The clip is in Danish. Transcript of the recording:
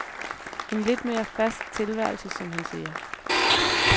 En lidt mere fast tilværelse, som han siger.